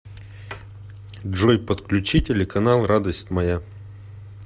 джой подключи телеканал радость моя